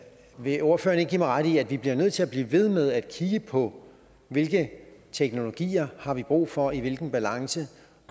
vil ordføreren ikke give mig ret i at vi bliver nødt til at blive ved med at kigge på hvilke teknologier har brug for og i hvilken balance